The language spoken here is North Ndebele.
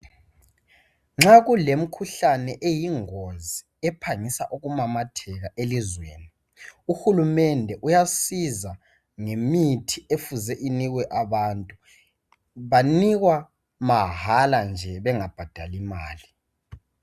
Nxa kulemkhuhlane eyingozi ephangisa ukumamatheka elizweni, uhulumende uyasiza gemithi efuze inikwe abantu. Banikwa mahala nje bengabhadali imali.